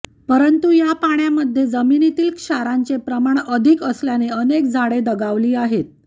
परंतु या पाण्यामध्ये जमिनीतील क्षारांचे प्रमाण अधिक असल्याने अनेक झाडे दगावली आहेत